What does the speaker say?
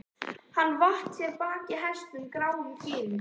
Hann vatt sér á bak hestinum, gráum gæðingi.